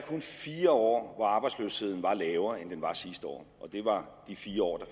fire år hvor arbejdsløsheden var lavere end den var sidste år og det var de fire år